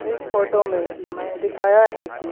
इस फोटो में दिखाया है की--